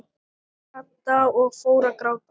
Kata og fór að gráta.